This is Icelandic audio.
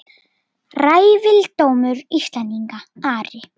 Ræfildómur Íslendinga Ari!